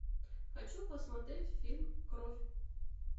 хочу посмотреть фильм кровь